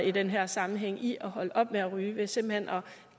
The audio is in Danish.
i den her sammenhæng i at holde op med at ryge ved simpelt hen at